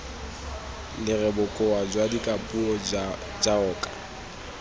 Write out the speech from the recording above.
lere bokao jwa dikapuo jaoka